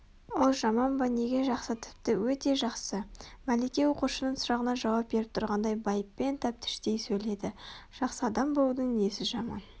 ол жаман ба неге жақсы тіпті өте жақсы мәлике оқушының сұрағына жауап беріп тұрғандай байыппен тәптіштей сөйледі жақсы адам болудың несі жаман